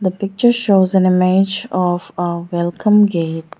the picture shows an image of a welcome gate.